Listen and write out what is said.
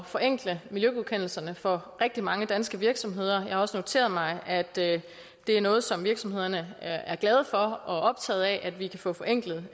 forenkle miljøgodkendelserne for rigtig mange danske virksomheder jeg har også noteret mig at det er noget som virksomhederne er glade for og optaget af at vi kan få forenklet